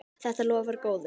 Þetta lofar góðu.